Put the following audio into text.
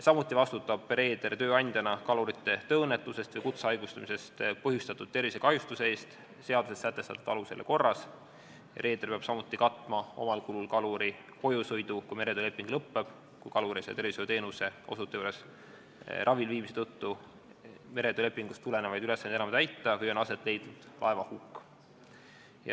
Samuti vastutab reeder tööandjana kaluri tööõnnetusest või kutsehaigestumisest põhjustatud tervisekahjustuse eest seaduses sätestatud alusel ja korras ning reeder peab samuti tasuma kaluri kojusõidukulud, kui meretööleping lõppeb, kui kalur ei saa tervishoiuteenuse osutaja juures ravil viibimise tõttu meretöölepingust tulenevaid ülesandeid enam täita või on aset leidnud laevahukk.